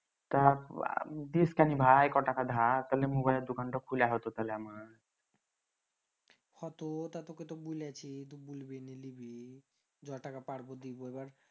তা ডিস কানি ভাই কটাকা ধার তালে mobile দোকানটা খুলা হতো তাহলে আমার হ তো তুকে তো বুলিছি জ টাকা পারবো দিবো এবার